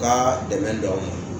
Ka dɛmɛ don aw ma